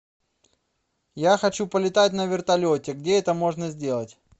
я хочу полетать на вертолете где это можно сделать